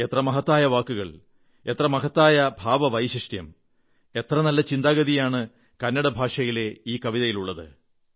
എത്ര മഹത്തായ വാക്കുകൾ എത്ര മഹത്തായ ഭാവവൈശിഷ്ട്യം എത്ര നല്ല ചിന്താഗതിയാണ് കന്നടഭാഷയിലെ ഈ കവിതയിലുള്ളത്